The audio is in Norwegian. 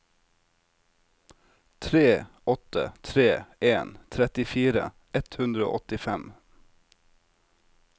tre åtte tre en trettifire ett hundre og åttifem